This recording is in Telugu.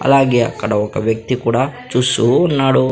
అలాగే అక్కడ ఒక వ్యక్తి కూడా చూస్తూ ఉన్నాడు.